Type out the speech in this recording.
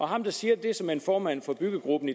ham der siger det er såmænd formanden for byggegruppen